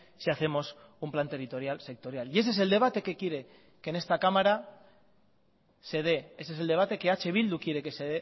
si hacemos un plan territorial sectorial y ese es el debate que quiere que en esta cámara se dé ese es el debate que eh bildu quiere que se